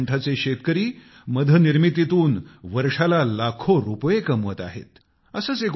आज बनासकांठाचे शेतकरी मध निर्मितीतून वर्षाला लाखो रुपये कमवत आहेत